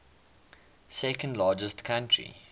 second largest country